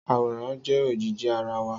Àwòrán jẹ ojíjí àrá wá